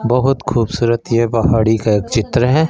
बहुत खूबसूरत ये पहाड़ी का एक चित्र है।